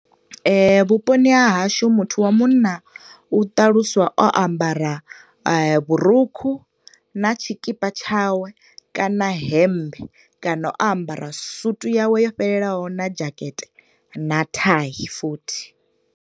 Vhuponi ha hashu muthu wa munna u ṱaluswa o ambara vhurukhu na tshikipa tshawe kana hemmbe, kana o ambara suit ya we yo fhelelaho na jacket, na tie futhi.